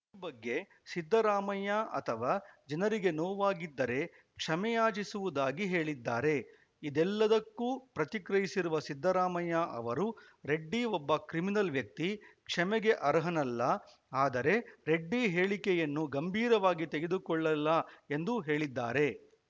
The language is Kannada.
ಈ ಬಗ್ಗೆ ಸಿದ್ದರಾಮಯ್ಯ ಅಥವಾ ಜನರಿಗೆ ನೋವಾಗಿದ್ದರೆ ಕ್ಷಮೆಯಾಚಿಸುವುದಾಗಿ ಹೇಳಿದ್ದಾರೆ ಇದೆಲ್ಲದಕ್ಕೂ ಪ್ರತಿಕ್ರಿಯಿಸಿರುವ ಸಿದ್ದರಾಮಯ್ಯ ಅವರು ರೆಡ್ಡಿ ಒಬ್ಬ ಕ್ರಿಮಿನಲ್‌ ವ್ಯಕ್ತಿ ಕ್ಷಮೆಗೆ ಅರ್ಹನಲ್ಲ ಆದರೆ ರೆಡ್ಡಿ ಹೇಳಿಕೆಯನ್ನು ಗಂಭೀರವಾಗಿ ತೆಗೆದುಕೊಳ್ಳಲ್ಲ ಎಂದು ಹೇಳಿದ್ದಾರೆ